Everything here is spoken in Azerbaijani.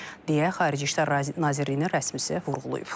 deyə Xarici İşlər Nazirliyinin rəsmisi vurğulayıb.